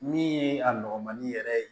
Min ye a nɔgɔmani yɛrɛ ye